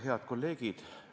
Head kolleegid!